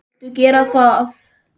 Viltu gera það?